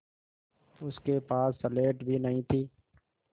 उसके पास स्लेट भी नहीं थी